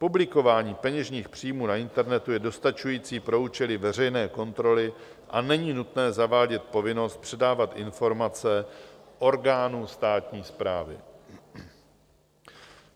Publikování peněžních příjmů na internetu je dostačující pro účely veřejné kontroly a není nutné zavádět povinnost předávat informace orgánu státní správy.